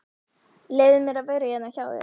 Leyfðu mér að vera hérna hjá þér.